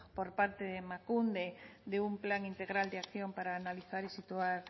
por parte de emakunde de un plan integral de acción para analizar y situar